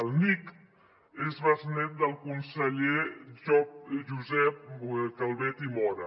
el nick és besnet del conseller josep calvet i móra